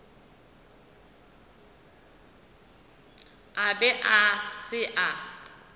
a be a se a